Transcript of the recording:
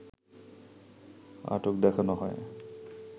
আটক দেখানো হয়